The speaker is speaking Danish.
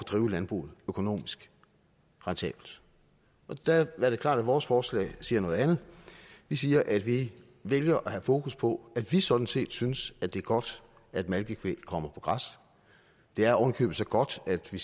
drive landbruget økonomisk rentabelt der er det klart at vores forslag siger noget andet vi siger at vi vælger at have fokus på at vi sådan set synes at det er godt at malkekvæg kommer på græs det er ovenikøbet så godt at vi